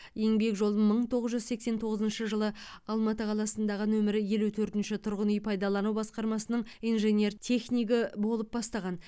еңбек жолын мың тоғыз жүз сексен тоғызыншы жылы алматы қаласындағы нөмірі елу төртінші тұрғын үй пайдалану басқармасының инженер технигі болып бастаған